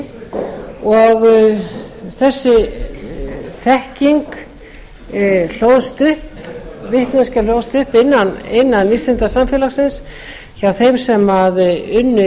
sýna hvort sem þau eru persónugreinanleg eða ekki þessi vitneskja hlóðst upp innan vísindasamfélagsins hjá þeim sem